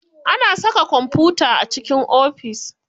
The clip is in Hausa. Ana saka kwamfuta a cikin ofis.